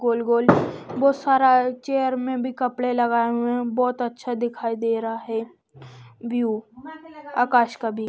गोल गोल बहुत सारा चेयर में भी कपड़े लगाए हुए हैं बहुत अच्छा दिखाई दे रहा है व्यू आकाश का भी।